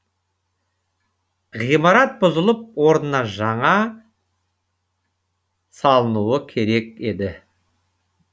ғимарат бұзылып орнына жаңа салынуы керек еді